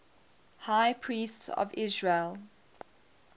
high priests of israel